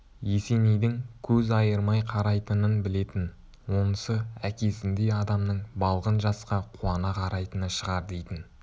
есенейдің көз айырмай қарайтынын білетін онысы әкесіндей адамның балғын жасқа қуана қарайтыны шығар дейтін